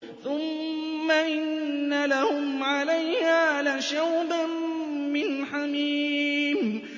ثُمَّ إِنَّ لَهُمْ عَلَيْهَا لَشَوْبًا مِّنْ حَمِيمٍ